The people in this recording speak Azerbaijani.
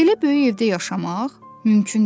Belə böyük evdə yaşamaq mümkün deyil.